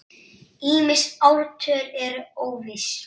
Ýmis ártöl eru óviss.